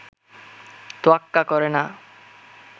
তোয়াক্বা করে না